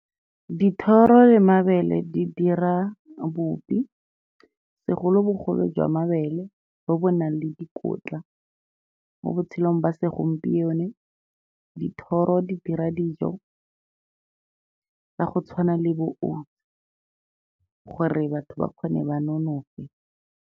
Dithoro le mabele di dira bupi, segolobogolo jwa mabele bo bo nang le dikotla. Mo botshelong ba segompieno, dithoro di dira dijo ka go tshwana le bo , gore batho ba kgone, ba nonofe.